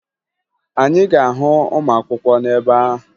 Anyị ga-ahụ ụmụakwụkwọ n'ebe ahụ